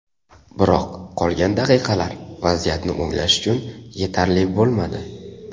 Biroq qolgan daqiqalar vaziyatni o‘nglash uchun yetarli bo‘lmadi.